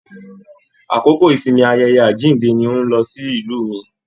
Àkókò ìsinmi ayẹyẹ àjínde ní n o lọ sílù mí.